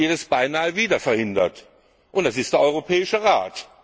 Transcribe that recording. es beinahe wieder verhindert, und das ist der Europäische Rat.